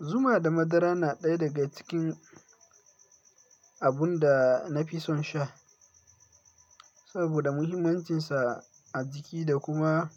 Zuma da madara na ɗaya daga cikin abun da na fi son sha saboda muhimmancinsa a jiki da kuma